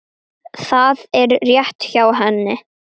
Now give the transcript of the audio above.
Það er rétt hjá henni.